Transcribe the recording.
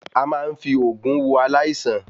A máa ń fí oògùn wo aláìsàn